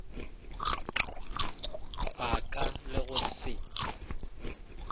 ba ka le go se